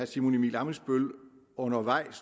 simon emil ammitzbøll undervejs